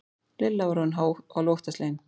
Lilla var orðin hálf óttaslegin.